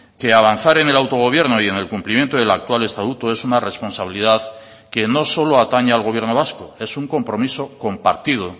que avanzar en el autogobierno y en el cumplimiento del actual estatuto es una responsabilidad que no solo atañe al gobierno vasco es un compromiso compartido